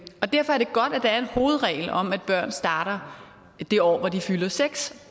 og derfor er det godt at der er en hovedregel om at børn starter det år hvor de fylder seks